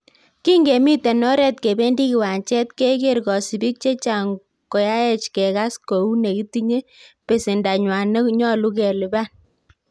"Kingemiten oret kebendi kiwanjet, keger kosibik chechang koyaech kegas kou ne kitinye besendanywan ne nyolu kelipan."